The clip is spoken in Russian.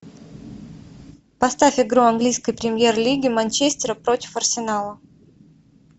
поставь игру английской премьер лиги манчестера против арсенала